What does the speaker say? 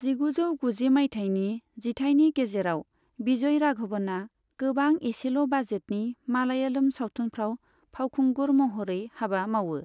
जिगुजौ गुजि मायथाइनि जिथायनि गेजेराव विजय राघवनआ गोबां एसेल' बाजेटनि मालायालम सावथुनफ्राव फावखुंगुर महरै हाबा मावो।